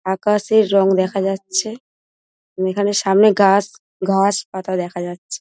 আকাশের রং দেখা যাচ্ছে | এখানে সামনে গাছ ঘাস-পাতা দেখা যাচ্ছে।